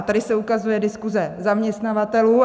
A tady se ukazuje diskuze zaměstnavatelů.